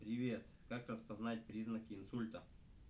привет как распознать признаки инсульта